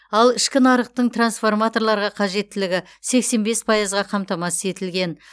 ал ішкі нарықтың трансформаторларға қажеттілігі сексен бес пайызға қамтамасыз етілген